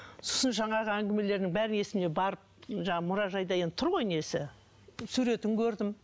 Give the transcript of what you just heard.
сосын жаңағы әңгімелерінің бәрін барып жаңағы мұражайда енді тұр ғой несі суретін көрдім